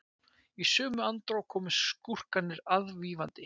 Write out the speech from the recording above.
í sömu andrá koma skúrkarnir aðvífandi